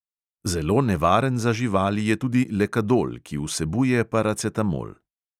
Zelo nevaren za živali je tudi lekadol, ki vsebuje paracetamol.